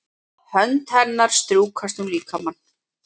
Hönd hennar strjúkast um líkamann.